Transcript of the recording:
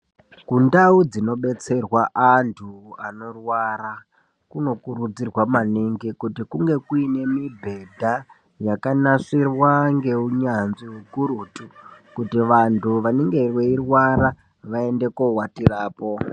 Kundawu dzinodetserwa antu anorwara kunokurudzirwa maningi kuti kunge kuyine mibhedha yakanasirwa ngewunyanzvi wukurutu, kuti vantu vanenge veyirwara vayende kowatirapo.